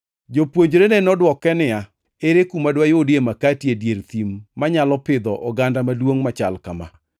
Jopuonjrene nodwoke niya, “Ere kuma dwayudie makati e dier thim manyalo pidho oganda maduongʼ machal kama?”